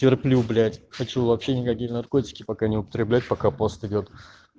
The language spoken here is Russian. терплю блять хочу вообще никакие наркотики пока не употреблять пока пост идёт